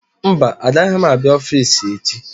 Mba agaghị m abịa ọffici echi.